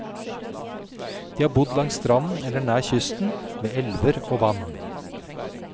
De har bodd langs stranden eller nær kysten, ved elver og vann.